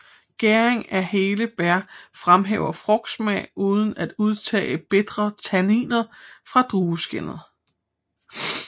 Gæringen af hele bær fremhæver frugtsmag uden at udtage bitre tanniner fra drueskindet